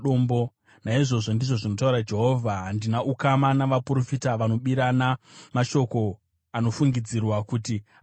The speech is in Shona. “Naizvozvo,” ndizvo zvinotaura Jehovha, “handina ukama navaprofita vanobirana mashoko anofungidzirwa kuti anobva kwandiri.